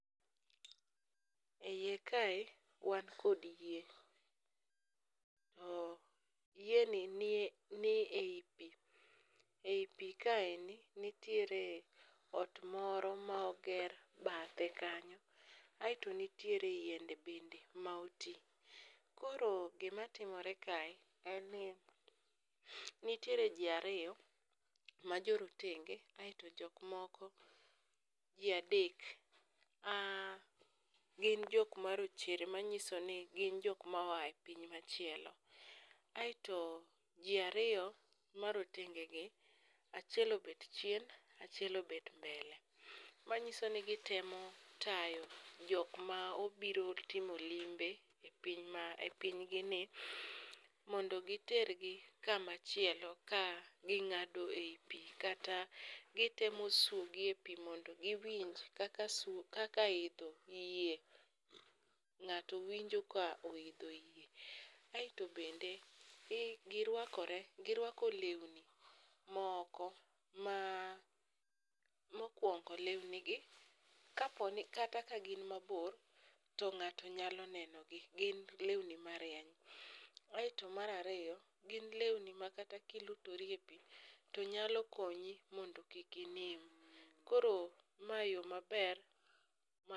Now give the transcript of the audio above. E iye kae wan kod yie, to yieni ni e i pi. E i pi kaeni nitiere ot moro ma oger bathe kanyo aeto nitiere yiende bende ma oti, koro gimatimore kae en ni nitiere ji ariyo ma jorotenge aeto jokmoko ji adek Ah gin jokma rochere manyiso ni gin jokma oa e piny machielo, aeto ji ariyo marotengegi achiel obet chien achiel obet mbele manyiso ni gitemo tayo jokma obiro timo limbe e pinygini mondo gitergi kamachielo ka ging'ado e i pi kata gitemo swogi e pi mondo giwinj kaka idho yie ng'ato winjo ka oidho yie. Aeto bende girwako lewni moko ma mokwongo lewnigi kata kagin mabor to ng'ato nyalo nenogi gin lewni marieny. Aeto mar ariyo gin lewni ma kata kilutori e pi nyalo konyi mondo kik inim, koro mae yo maber ma..